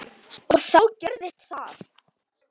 . og þá gerðist það!